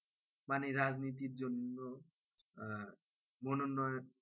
মানে রাজনীতির জন্য আহ মনোনয়ন